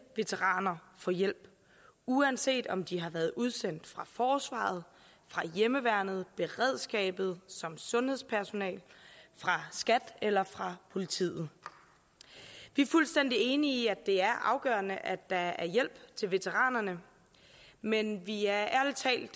veteraner få hjælp uanset om de har været udsendt fra forsvaret fra hjemmeværnet beredskabet som sundhedspersonale fra skat eller fra politiet vi er fuldstændig enige i at det er afgørende at der er hjælp til veteranerne men vi er ærlig talt